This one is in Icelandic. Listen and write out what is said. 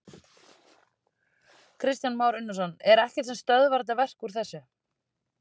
Kristján Már Unnarsson: Er ekkert sem stöðvar þetta verk úr þessu?